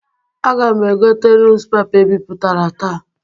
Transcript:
Aga m egote nuz pepa e bipụtara taa.